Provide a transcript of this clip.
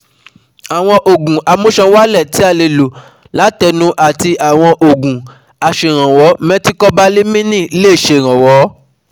Àwọn òògùn amúṣan wálè tí a lè lò látẹnu àti àwọn òògun aṣèrànwọ́ mẹtikọbalamíìnì lè ṣèrànwọ́